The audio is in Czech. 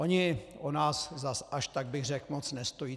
Oni o nás zas až tak bych řekl moc nestojí.